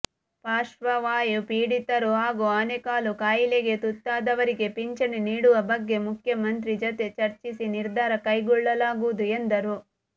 ಪಾರ್ಶ್ವವಾಯು ಪೀಡಿತರು ಹಾಗೂ ಆನೆಕಾಲು ಕಾಯಿಲೆಗೆ ತುತ್ತಾದವರಿಗೆ ಪಿಂಚಣಿ ನೀಡುವ ಬಗ್ಗೆ ಮುಖ್ಯಮಂತ್ರಿ ಜತೆ ಚರ್ಚಿಸಿ ನಿರ್ಧಾರ ಕೈಗೊಳ್ಳಲಾಗುವುದು ಎಂದರು